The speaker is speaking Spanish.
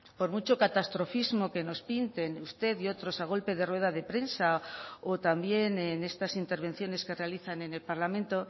por mucho catastrofismo que nos pinten usted y otros a golpe de rueda de prensa o también en estas intervenciones que realizan en el parlamento